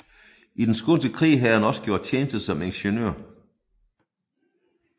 I den skånske krig havde han også gjort tjeneste som ingeniør